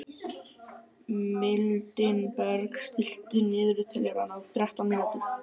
Mildinberg, stilltu niðurteljara á þrettán mínútur.